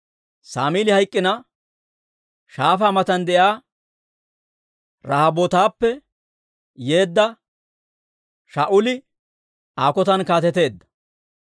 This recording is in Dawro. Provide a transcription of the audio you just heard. Saamili hayk'k'ina, shaafaa matan de'iyaa Rahobootappe yeedda Shaa'uli Aa kotan kaateteedda.